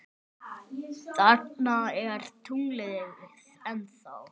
Þarna er tunglið ennþá.